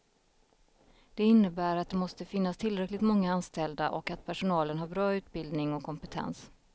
Det innebär att det måste finnas tillräckligt många anställda och att personalen har bra utbildning och kompetens.